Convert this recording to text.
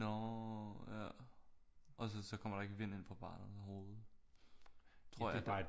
Nå ja og så kommer der ikke vind ind på barnet ruden tror jeg